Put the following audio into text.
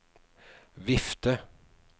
vifte